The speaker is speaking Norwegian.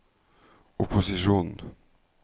opposisjonen